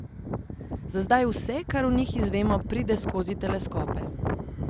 Za zdaj vse, kar o njih izvemo, pride skozi teleskope.